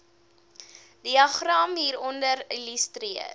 diagram hieronder illustreer